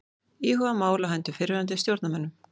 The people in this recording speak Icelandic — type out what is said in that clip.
Íhuga mál á hendur fyrrverandi stjórnarmönnum